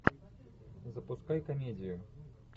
запускай комедию